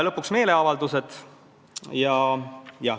Lõpuks meeleavaldused.